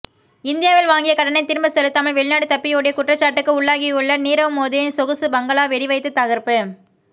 இந்தியாவில் வாங்கிய கடனை திரும்ப செலுத்தாமல் வெளிநாடு தப்பியோடிய குற்றச்சாட்டுக்கு உள்ளாகியுள்ள நீரவ் மோதியின் சொகுசு பங்களா வெடிவைத்து தகர்ப்பு